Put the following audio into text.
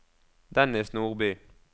Dennis Nordby